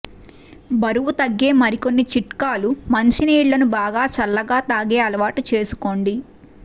బరువ్ఞ తగ్గే మరికొన్ని చిట్కాలు ్య మంచినీళ్లను బాగా చల్లగా తాగే అలవాటు చేసుకోండి